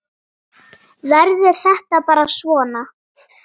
Verður þetta bara svona?